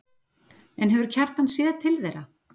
En hefur Kjartan séð til þeirra?